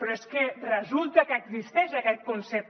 però és que resulta que existeix aquest concepte